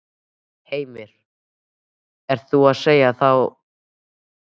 Heimir: Er þú að segja að þá sé stjórnarkreppa?